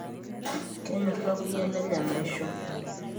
kenyor kakuyia lenye enaisho